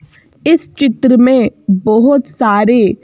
इस चित्र में बहुत सारे--